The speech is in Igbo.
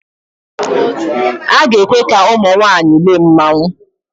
A ga-ekwe ka ụmụ nwaanyị lee mmanwụ